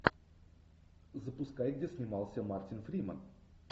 запускай где снимался мартин фримен